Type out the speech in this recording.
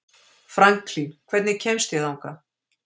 Franklín, hvernig kemst ég þangað?